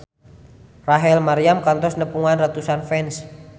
Rachel Maryam kantos nepungan ratusan fans